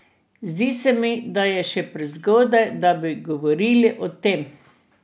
Zdi se mi, da je še prezgodaj, da bi govorili o tem.